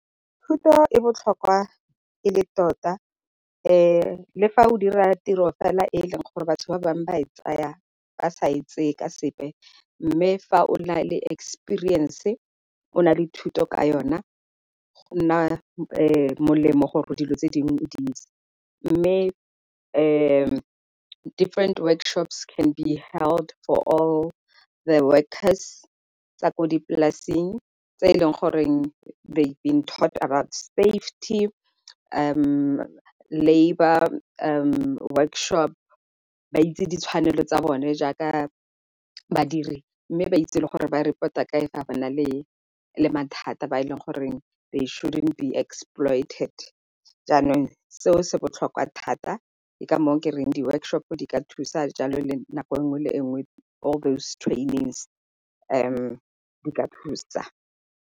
Thuto e botlhokwa e le tota le fa o dira tiro fela e e leng gore batho ba bangwe ba e tsaya ba sa e tseye ka sepe, mme fa o na le experience o na le thuto ka yona, go nna molemo gore dilo tse dingwe o di itse. Mme different workshops can be held for all the workers tsa ko dipolasing tse e leng goreng they will talk about safety, labour, workshop. Ba itse ditshwanelo tsa bone jaaka badiri, mme ba itse gore ba report-a kae fa ba na le mathata ba e leng goreng they shouldn't be exploited. Jaanong seo se botlhokwa thata ke ka moo ke reng di-workshop-o di ka thusa jalo le nako nngwe le enngwe all those trainings di ka thusa.